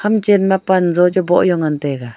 ham chen ma panzo chu boh jao ngan taiga.